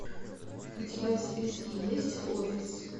у тебя в списке есть офис